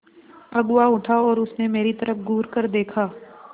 अगुआ उठा और उसने मेरी तरफ़ घूरकर देखा